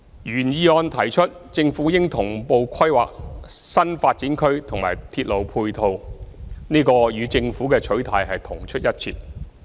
原議案提出政府應同步規劃新發展區和鐵路配套，這與政府的取態同出一轍。